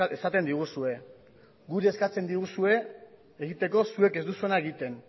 esaten diguzue guri eskatzen diguzue egiteko zuek ez duzuena egiten